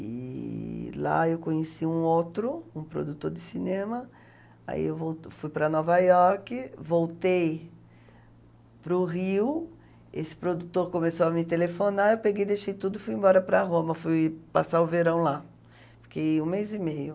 E lá eu conheci um outro, um produtor de cinema, aí eu vol fui para Nova York, voltei para o Rio, esse produtor começou a me telefonar, eu peguei, deixei tudo e fui embora para Roma, fui passar o verão lá, fiquei um mês e meio.